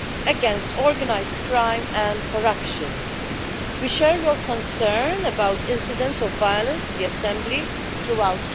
against organised crime and corruption. We share your concern about the incidents of violence in the Assembly throughout